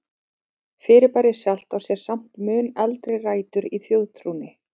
Fyrirbærið sjálft á sér samt mun eldri rætur í þjóðtrúnni.